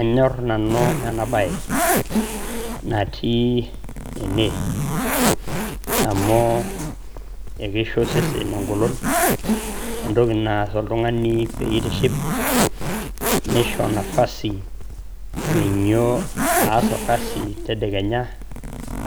Anyorr nanu ena bae natii ene, amu kisho osesen eng`olon entoki naas oltung`ani pee itiship nisho nafasi minyio aas olkasi tedekenya.